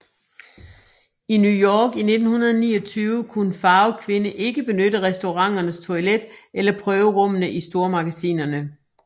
I New York i 1929 kunne en farvet kvinde ikke benytte restauranternes toilet eller prøverummene i stormagasinerne